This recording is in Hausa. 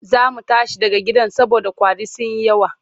Za mu tashi daga gidan saboda ƙwari sun yi yawa.